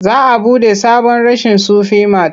Za a buɗe sabon reshen Sufi mat.